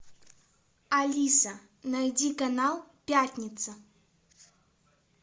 алиса найди канал пятница